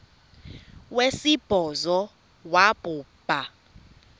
wesibhozo wabhu bha